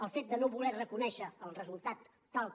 el fet de no voler reconèixer el resultat tal com